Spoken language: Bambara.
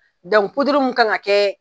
mun kan ka kɛ.